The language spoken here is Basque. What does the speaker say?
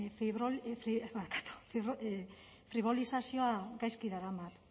fribolizazioa gaizki daramat